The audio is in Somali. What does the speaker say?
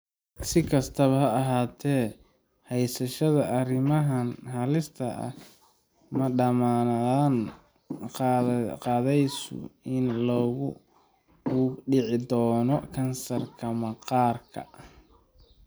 Si kastaba ha ahaatee, haysashada arrimahan halista ah ma dammaanad qaadayso in qofku uu ku dhici doono kansarka maqaarka.